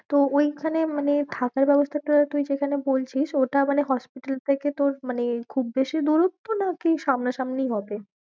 তো ওইখানে মানে থাকার ব্যবস্থাটা তুই যেখানে বলছিস ওটা মানে hospital থেকে তোর মানে খুব বেশি দূরত্ব না কি সামনা সামনিই হবে?